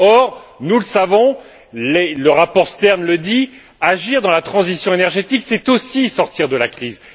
Or, nous le savons, le rapport Stern le dit, agir dans la transition énergétique c'est aussi sortir de la crise.